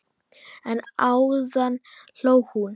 En áðan hló hún.